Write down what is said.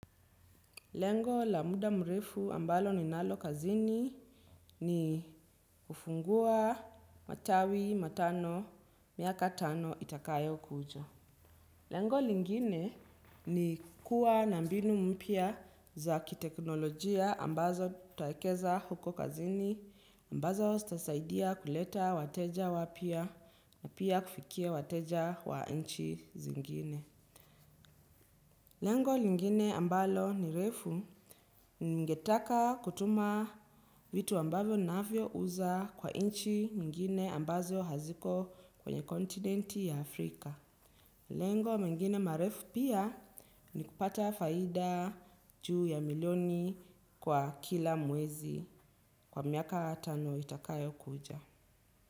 Lengo la muda mrefu ambalo ninalo kazini ni kufungua matawi matano miaka tano itakayo kuja. Lengo lingine ni kuwa na mbinu mpya za kiteknolojia ambazo nitawekeza huko kazini ambazo zitasaidia kuleta wateja wapya na pia kufikia wateja wa nchi zingine. Lengo lingine ambalo ni refu ni ngetaka kutuma vitu ambavyo navyo uza kwa inchi nyingine ambazo haziko kwenye kontinenti ya Afrika. Lengo mengine marefu pia ni kupata faida juu ya milioni kwa kila mwezi kwa miaka tano itakayo kuja.